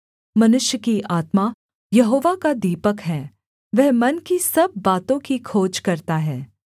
मनुष्य की आत्मा यहोवा का दीपक है वह मन की सब बातों की खोज करता है